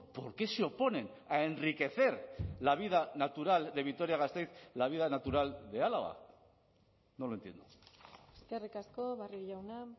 por qué se oponen a enriquecer la vida natural de vitoria gasteiz la vida natural de álava no lo entiendo eskerrik asko barrio jauna